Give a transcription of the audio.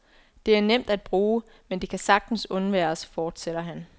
Det er nemt at bruge, men det kan sagtens undværes, forsætter han.